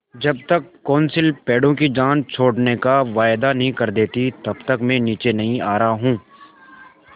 जब तक कौंसिल पेड़ों की जान छोड़ने का वायदा नहीं कर देती तब तक मैं नीचे नहीं आ रहा हूँ